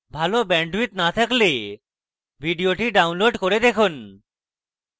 ভাল bandwidth না থাকলে ভিডিওটি download করে দেখুন